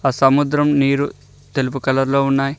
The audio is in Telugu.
ఆ సముద్రం నీరు తెలుపు కలర్ లో ఉన్నాయి.